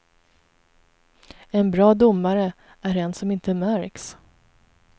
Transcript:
En bra domare är en som inte märks.